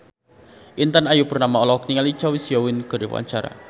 Intan Ayu Purnama olohok ningali Choi Siwon keur diwawancara